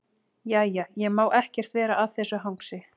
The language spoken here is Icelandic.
Jæja, ég má ekkert vera að þessu hangsi.